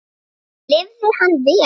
Lifði hann vel?